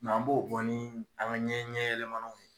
Mɛ an b'o bɔ ni an ka ɲɛ ɲɛ yɛlɛmanaw ye